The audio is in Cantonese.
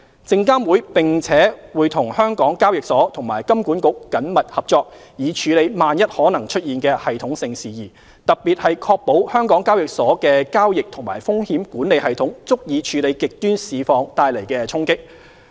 證監會並且與香港交易所和金管局緊密合作，以處理萬一可能出現的系統性事宜，特別是確保香港交易所的交易及風險管理系統足以處理極端市況帶來的衝擊。